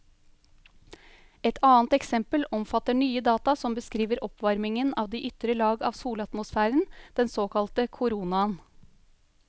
Et annet eksempel omfatter nye data som beskriver oppvarmingen av de ytre lag av solatmosfæren, den såkalte koronaen.